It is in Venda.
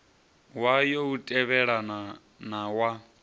wayo u tevhelelana na wa